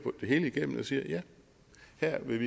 det hele igennem og siger at her vil